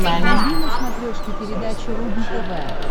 вруби на смотрешке передачу рубль тв